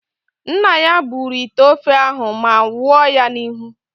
Nna ya buru ite ofe ahụ ma wụọ ya n'ihu.